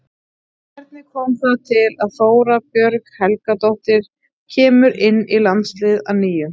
Hvernig kom það til að Þóra Björg Helgadóttir kemur inn í landsliðið að nýju?